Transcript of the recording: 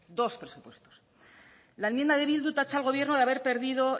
dos presupuestos la enmienda de bildu tacha al gobierno de haber perdido